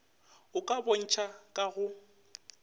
a ka bontšha ka go